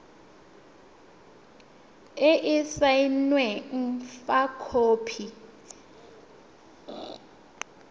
e e saenweng fa khopi